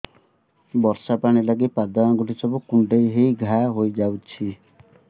ବର୍ଷା ପାଣି ଲାଗି ପାଦ ଅଙ୍ଗୁଳି ସବୁ କୁଣ୍ଡେଇ ହେଇ ଘା ହୋଇଯାଉଛି